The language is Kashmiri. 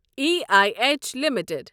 E I H limited